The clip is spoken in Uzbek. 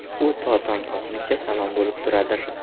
U to tong otguncha salom bo‘lib turadir.